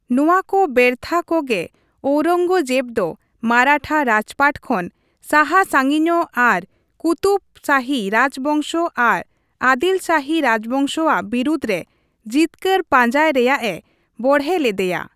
ᱱᱚᱣᱟ ᱠᱚ ᱵᱮᱨᱛᱷᱟ ᱠᱚᱜᱮ ᱳᱣᱨᱚᱝᱜᱚᱡᱮᱵᱽ ᱫᱚ ᱢᱟᱨᱟᱴᱷᱟ ᱨᱟᱡᱽᱯᱟᱴ ᱠᱷᱚᱱ ᱥᱟᱦᱟ ᱥᱟᱹᱜᱤᱧᱚᱜ ᱟᱨ ᱠᱩᱛᱩᱵᱽ ᱥᱟᱹᱦᱤ ᱨᱟᱡᱽ ᱵᱚᱝᱥᱚ ᱟᱨ ᱟᱫᱤᱞ ᱥᱟᱦᱤ ᱨᱟᱡᱵᱚᱝᱥᱚ ᱟᱜ ᱵᱤᱨᱩᱫᱷ ᱨᱮ ᱡᱤᱛᱠᱟᱹᱨ ᱯᱟᱸᱡᱟᱭ ᱨᱮᱭᱟᱜ ᱮ ᱵᱚᱲᱦᱮ ᱞᱮᱫᱮᱭᱟ ᱾